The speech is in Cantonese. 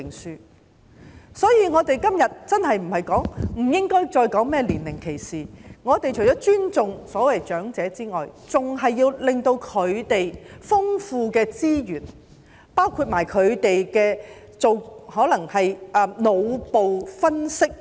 因此，我們現在真的不應該再說甚麼年齡歧視，我們除了要尊重所謂長者之外，更要善用他們的豐富資源，包括重用他們的分析能力。